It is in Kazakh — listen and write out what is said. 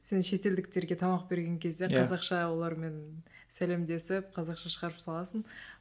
сен шетелдіктерге тамақ берген кезде қазақша олармен сәлемдесіп қазақша шығарып саласың